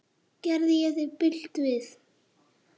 Gerði ég þér bylt við?